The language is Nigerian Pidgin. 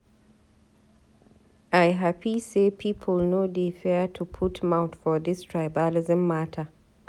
I hapi sey people no dey fear to put mouth for dis tribalism mata.